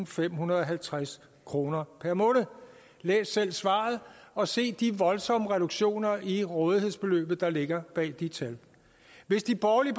femhundrede og halvtreds kroner per måned læs selv svaret og se de voldsomme reduktioner i rådighedsbeløbet der ligger bag de tal hvis de borgerlige